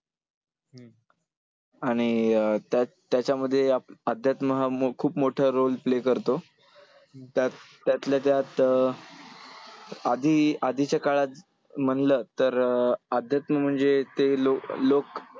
आणि अं त्याच्यामध्ये अध्यात्म हा खूप मोठा role play करतो. त्यात त्यातल्या त्यात अं आधी आधीच्या काळात म्हंटलं तर अध्यात्म म्हणजे ते लोक